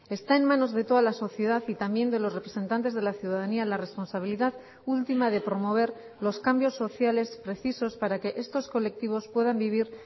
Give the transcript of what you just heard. está en manos de toda la sociedad y también de los representantes de la ciudadanía la responsabilidad última de promover los cambios sociales precisos para que estos colectivos puedan vivir